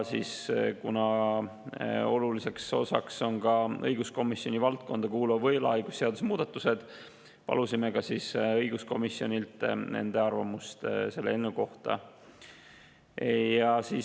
Kuna oluliseks osaks on siin ka õiguskomisjoni valdkonda kuuluva võlaõigusseaduse muudatused, palusime arvamust selle eelnõu kohta õiguskomisjonilt.